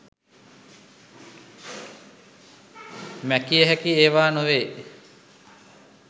මැකිය හැකි ඒවා නොවේ